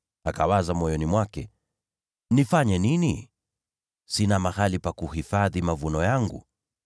Akawaza moyoni mwake, ‘Nifanye nini? Sina mahali pa kuhifadhi mavuno yangu.’